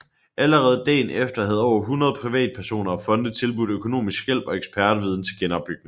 Allerede dagen efter havde over 100 privatpersoner og fonde tilbudt økonomisk hjælp og ekspertviden til genopbygningen